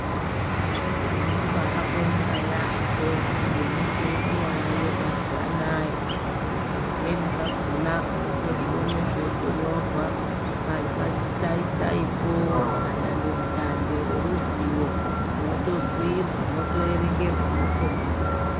Tinobaabonga yaampo ngemitemo yaayo mazuva anaya zvimweni zvakona unotozviona zveinyorwa pamasai saipo, padandemutande reruzivo. Mwotobhuyirwa ,mwotoerengerwa, mwokombidzwa.